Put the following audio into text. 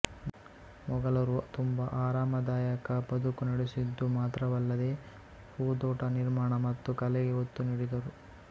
ಮೊಘಲರು ತುಂಬ ಆರಾಮದಾಯಕ ಬದುಕು ನಡೆಸಿದ್ದು ಮಾತ್ರವಲ್ಲದೇ ಹೂದೋಟ ನಿರ್ಮಾಣ ಮತ್ತು ಕಲೆಗೆ ಒತ್ತು ನೀಡಿದ್ದರು